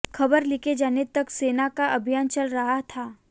खबर लिखे जाने तक सेना का अभियान चल रहा था